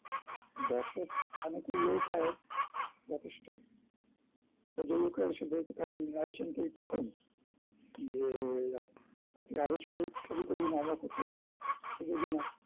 দর্শক অনেক ইয়েও পায় যেথেষ্ট প্রযোজকরা এসে বলতে থাকেন মৃনাল সেনকে এই প্রথম যে আপ~ আপনি আরো ছবি~ ছবি করুন আমরা করতে চাই প্রযোজনা